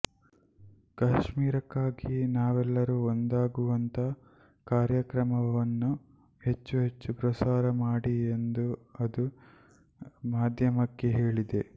ಕಾಶ್ಮೀರಕ್ಕಾಗಿ ನಾವೆಲ್ಲರೂ ಒಂದಾಗುವಂಥ ಕಾರ್ಯಕ್ರಮವನ್ನು ಹೆಚ್ಚು ಹೆಚ್ಚು ಪ್ರಸಾರ ಮಾಡಿ ಎಂದು ಅದು ಮಾಧ್ಯಮಕ್ಕೆ ಹೇಳಿದೆ